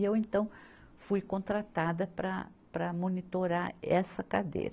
E eu, então, fui contratada para, para monitorar essa cadeira.